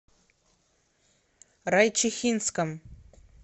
райчихинском